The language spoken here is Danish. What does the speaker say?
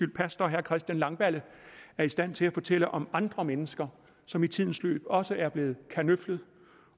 pastor herre christian langballe er i stand til at fortælle om andre mennesker som i tidens løb også er blevet kanøflet